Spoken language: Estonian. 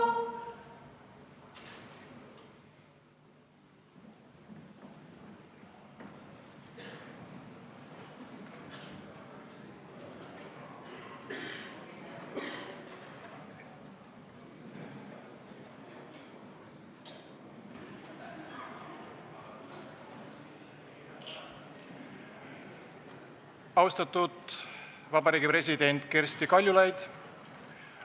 Austatud Eesti Vabariigi president Kersti Kaljulaid!